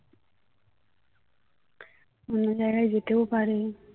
অন্য জায়গায় যেতেও পারে